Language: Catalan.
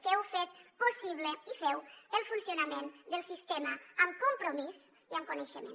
que heu fet possible i feu el funcionament del sistema amb compromís i amb coneixement